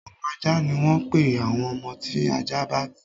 Ọmọ ajá ni wọ́n ń pè àwọn ọmọ tí ajá bá bí.